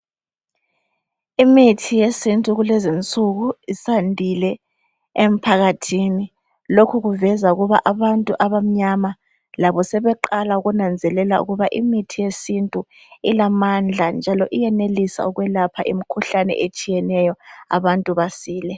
Imithi yesintu kulezinsuku isandile emphakathini ,lokhu kuveza ukuba abantu abamnyama labo sebeqala ukunanzelela ukuba imithi yesintu ilamandla njalo uyenelisa ukwelapha imikhuhlane etshiyeneyo abantu basile.